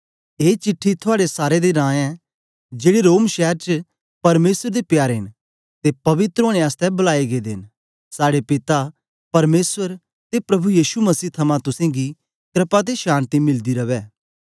ए चिट्ठी थुआड़े सारे दे नां ऐ जेड़े रोम शैर च परमेसर दे प्यारे न ते पवित्र ओनें आसतै बलाये गेदे न साड़े पिता परमेसर ते प्रभु यीशु मसीह थमां तुसेंगी क्रपा ते शान्ति मिलदी रवै